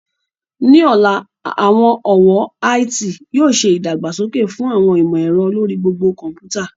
Ní ọ̀la, àwọn ọ̀wọ́ IT yóò ṣe ìdàgbàsókè fún àwọn ìmọ̀ ẹ̀rọ lórí gbogbo kọ̀ḿpútà